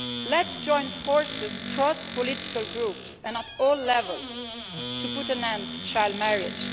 Let us join forces across political groups and at all levels to put an end to child marriage.